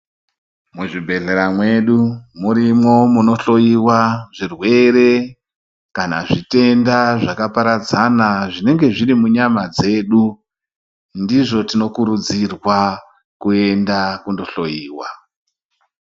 Muzvibhehlera mwedu murimwo munhloyiwa zvirwere kana zvitenda zvakaparadzana zvinenge zviri munyama dzedu ndizvo tinokurudzirwa kuenda kunohloyiwa.